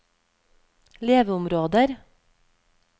leveområder